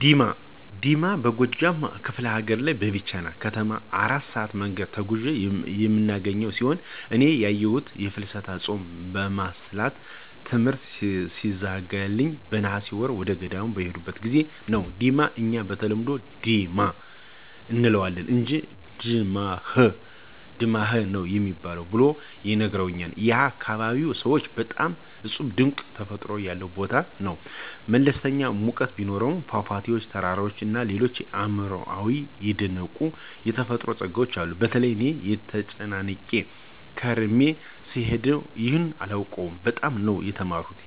ዲማ፦ ዲማ በጎጃም ከፍለ ሀገር ከቢቸና ከተማ የ4 ሰአት መንገድ ተጉዘን የምናገኘው ሲሆን እኔ ያየሁት የፍልሰታ ጾምን ለማሳለፍ ትምሕርት ሲዘጋልኝ በነሐሴ ወር ወደገዳም በሄድኩበት ጊዜ ነበር፤ ዲማ እኛ በተለምዶ "ዲማ “ አንለዋለን አንጅ “ድማኅ“ ነው ሚባል ብለው ነግረውኛል ያካባቢው ሰዎች። በጣም እጹብ ድንቅ ተፈጥሮ ያለው ቦታ ነው። መለስተኛ ሙቀት ቢኖሰውም ፏፏቴዎች፣ ተራራዎች እና ሌሎች አእምሮየን የደነቁት የተፈጥሮ ጸጋዎች አሉት። በተለይ እኔ ተጨናንቄ ከርሜ ስለሄድኩ ይሁን አላውቅም በጣም ነው የተማረኩት